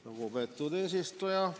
Lugupeetud eesistuja!